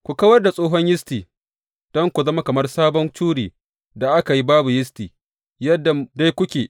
Ku kawar da tsohon yisti don ku zama kamar sabon curi da aka yi babu yisti yadda dai kuke.